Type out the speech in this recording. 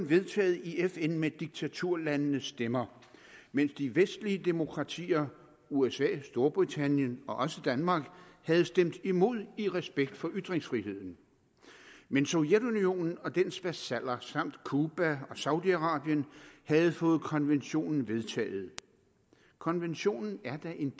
vedtaget i fn med diktaturlandenes stemmer mens de vestlige demokratier usa storbritannien og også danmark havde stemt imod i respekt for ytringsfriheden men sovjetunionen og dens vasaller samt cuba og saudi arabien havde fået konventionen vedtaget konventionen er da en